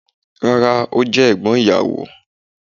Rárá, o jẹ egbon iyawo.